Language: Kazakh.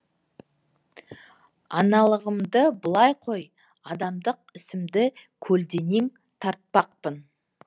аналығымды былай қой адамдық ісімді көлденең тартпақпын